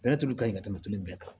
tulu ka ɲi ka tɛmɛ tulu bɛɛ kan